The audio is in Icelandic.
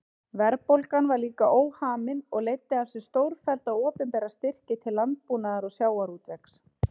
Verðbólgan var líka óhamin og leiddi af sér stórfellda opinbera styrki til landbúnaðar og sjávarútvegs.